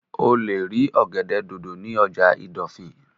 O lè rí ọ̀gẹ̀dẹ̀ dòdò ní ọjà ìdọ̀fìn